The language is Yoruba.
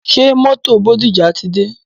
Ṣé mótò Bódìjà ti dé?